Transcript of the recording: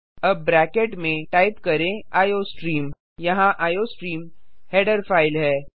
अब ब्रैकेट में टाइप करें आईओस्ट्रीम यहाँ आईओस्ट्रीम हेडर फाइल है